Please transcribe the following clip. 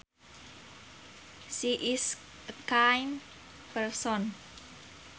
She is a kind person